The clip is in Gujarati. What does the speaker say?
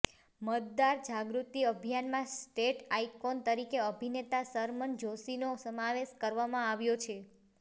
મતદાર જાગૃતિ અભિયાનમાં સ્ટેટ આઇકોન તરીકે અભિનેતા શરમન જોષીનો સમાવેશ કરવામાં આવ્યો છે